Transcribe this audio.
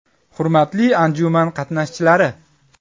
Hurmatli anjuman qatnashchilari!